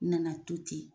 N nana to ten